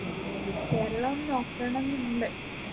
Keralam നോക്കണംന്നുണ്ട്